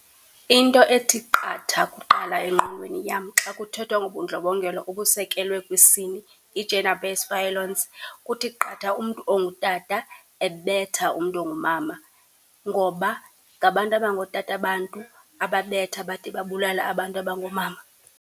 Into ethi qatha kuqala engqondweni yam xa kuthethwa ngobundlobongela obusekelwe kwisini, i-gender based violence, kuthi qatha umntu ongutata ebetha umntu ongumama ngoba ngabantu abangootata abantu ababetha bade babulale abantu abangoomama.